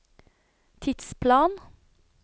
tidsplan